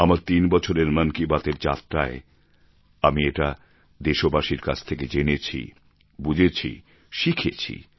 আমার তিন বছরের মন কি বাত এর যাত্রায় আমি এটা দেশবাসীর কাছ থেকে জেনেছি বুঝেছি শিখেছি